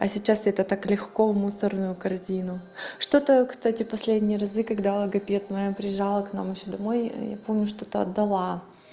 а сейчас это так легко в мусорную корзину что-то кстати последние разы когда логопед моя приезжала к нам ещё домой я помню что-то отдала